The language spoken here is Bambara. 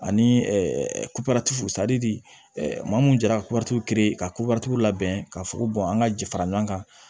Ani maa mun jara kuwatu ka kobɛtiw labɛn ka fuko an ŋa ji fara ɲɔgɔn kan